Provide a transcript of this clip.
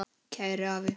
Kæri afi.